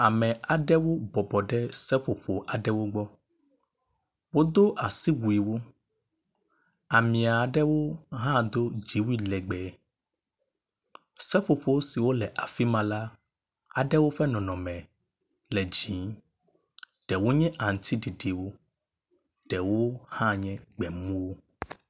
Ame aɖewo bɔbɔ ɖe seƒoƒo aɖewo gbɔ, wodo asiwuiwo. Ame aɖewo hã do dziwui legbee, seƒoƒo siwo le afi ma le ƒe nɔnɔme le dzi, ɖewo nye aŋutiɖiɖiwo ɖewo hã nye gbe mumuwo.